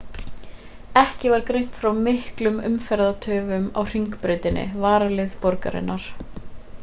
ekki var greint frá miklum umferðartöfum á hringbrautinni varaleið borgarinnar